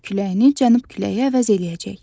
Qərb küləyini cənub küləyi əvəz eləyəcək.